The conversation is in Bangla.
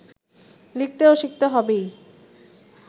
লিখতে ও শিখতে হবেই